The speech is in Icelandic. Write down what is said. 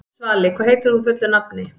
Svali, hvað heitir þú fullu nafni?